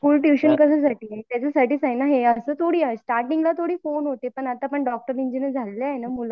school tuition कशासाठी आहे त्याचासाठीच आहे ना असं थोडी आहे स्टार्टींग ला थोडी फोन होते पण आता डॉक्टर इंजिनियर झालेली आहे ना मूल